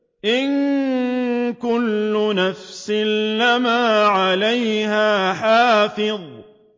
إِن كُلُّ نَفْسٍ لَّمَّا عَلَيْهَا حَافِظٌ